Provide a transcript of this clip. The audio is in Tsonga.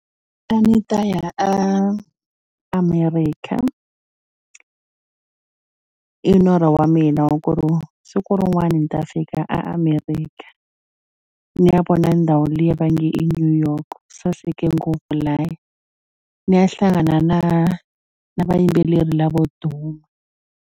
A ni ta ya a America i norho wa mina wa ku ri siku rin'wani ni ta fika America ni ya vona ndhawu liya va nge i New York saseke ngopfu lahaya ni ya hlangana na na vayimbeleri lavo duma.